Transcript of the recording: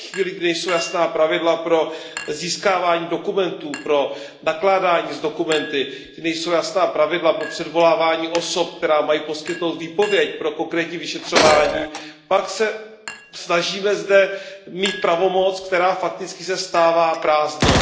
Ve chvíli, kdy nejsou jasná pravidla pro získávání dokumentů, pro nakládání s dokumenty, kdy nejsou jasná pravidla pro předvolávání osob, které mají poskytnout výpověď pro konkrétní vyšetřování, pak se zde snažíme mít pravomoc, která se fakticky stává prázdnou.